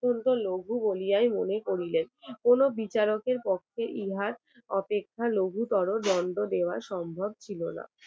অত্যন্ত লঘু বলিয়ায় মনে করিলেন কোন বিচারকের পক্ষে ইহাই অপেক্ষা লঘুতর দন্ড দেওয়া সম্ভব ছিল না